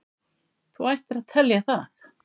Þú ættir að telja það.